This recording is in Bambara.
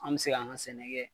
An bɛ se k'an ka sɛnɛ kɛ